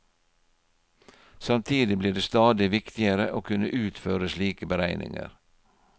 Samtidig blir det stadig viktigere å kunne utføre slike beregninger.